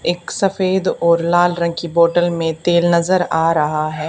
एक सफेद और लाल रंग की बोटल में तेल नजर आ रहा है।